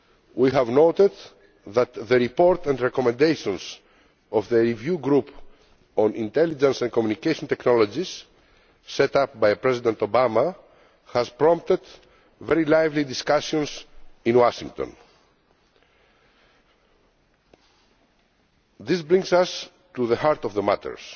We have noted that the report and recommendations of the Review Group on Intelligence and Communication Technologies set up by President Obama has prompted very lively discussions in Washington. This brings us to the heart of the matter.